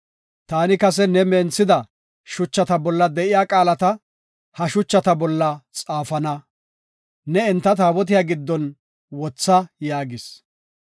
Taani kase ne menthida shuchata bolla de7iya qaalata ha shuchata bolla xaafana; ne enta taabotiya giddon wotha” yaagis.